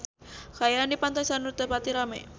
Kaayaan di Pantai Sanur teu pati rame